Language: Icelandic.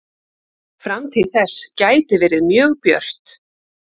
Framtíð þess gæti verið mjög björt.